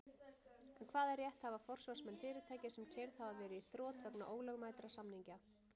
En hvaða rétt hafa forsvarsmenn fyrirtækja sem keyrð hafa verið í þrot vegna ólögmætra samninga?